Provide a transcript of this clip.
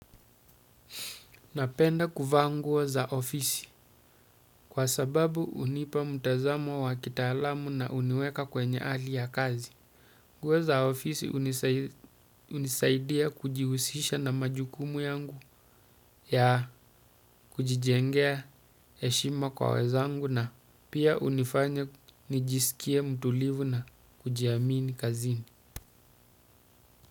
Napenda kufanguwo za ofisi kwa sababu unipa mtazamo wa kitalamu na uniweka kwenye ali ya kazi. Nguo za ofisi unisaidia kujiusisha na majukumu yangu ya kujijengea eshima kwa wezangu na pia unifanya nijisikia mtulivu na kujiamini kazini.